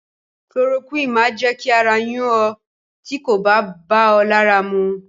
Kulorokúìnì máa jẹ́ kí ara yún ọ tí kò bá bá ọ lára mu.